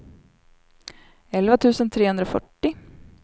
elva tusen trehundrafyrtio